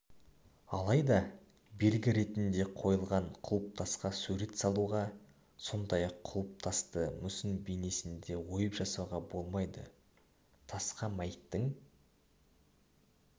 алайда белгі ретінде қойылған құлпытасқа сурет салуға сондай-ақ құлпытасты мүсін бейнесінде ойып жасауға болмайды тасқа мәйіттің